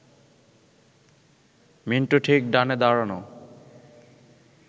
মিন্টুর ঠিক ডানে দাঁড়ানো